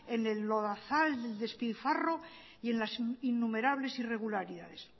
en el lodazal del despilfarro y en la innumerables irregularidades